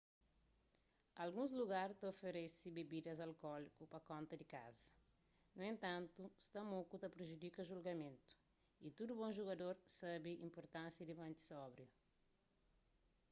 alguns lugar ta oferese bebidas alkóliku pa konta di kaza nu entantu sta moku ta prejudika julgamentu y tudu bon jugador sabe inpurtánsia di mante sóbriu